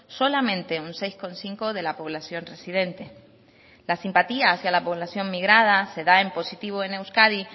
solamente un seis coma cinco de la población residente la simpatía hacia la población migrada se da en positivo en euskadi